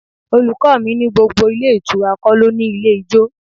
My teacher said not all hotel has a bar.